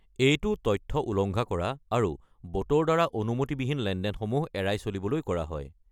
এইটো তথ্য উলংঘা কৰা আৰু ব'টৰ দ্বাৰা অনুমতিবিহীন লেনদেনসমূহ এৰাই চলিবলৈ কৰা হয়।